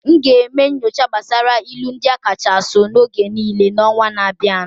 I will do research on the most widely used proverbs of all time next month.